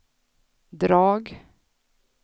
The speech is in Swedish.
drag